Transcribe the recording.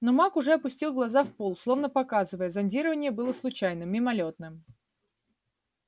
но маг уже опустил глаза в пол словно показывая зондирование было случайным мимолётным